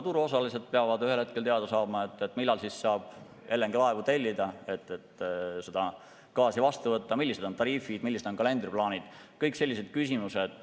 Turuosalised peavad ühel hetkel teada saama, millal saab LNG-laevu tellida, et gaasi vastu võtta, millised on tariifid, millised on kalendriplaanid – kõik sellised küsimused.